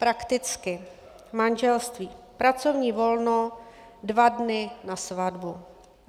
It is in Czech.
Prakticky: Manželství - pracovní volno dva dny na svatbu.